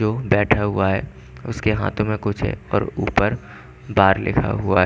यु बैठा हुआ है उसके हाथो में कुछ है और ऊपर बार लिखा हुआ है।